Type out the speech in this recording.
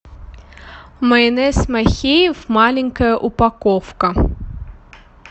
майонез махеев маленькая упаковка